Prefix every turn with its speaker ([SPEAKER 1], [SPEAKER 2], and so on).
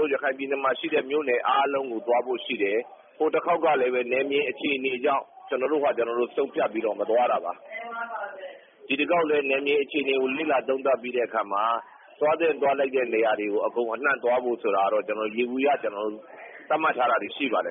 [SPEAKER 1] တို့ ရခိုင်ပြည်နယ်မှာ ရှိတဲ့ မြို့နယ်အားလုံးကို သွားဖို့ရှိတယ်။ ဟိုတခေါက်ကလည်း နယ်မြေအခြေအနေကြောင့် ကျနော်တို့ဘာတို့ ဆုံးဖြတ်ပြီး မသွားတာပါ။ ဒီတခေါက်လည်း နယ်မြေအခြေအနေကို လေ့လာသုံးသပ်ပြီးတဲ့အခါမှာ သွားသင့်သွားထိုက် တဲ့နေရာတွေကို အကုန်အနှံ့သွားဖို့ဆိုတာတော့ ယေဘူယျ ကျနော်တို့ မှတ်ထားတာတွေရှိပါတယ်